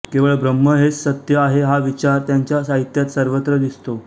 केवळ ब्रह्म हेच सत्य आहे हा विचार त्यांच्या साहित्यात सर्वत्र दिसतो